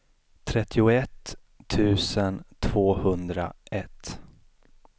trettioett tusen tvåhundraett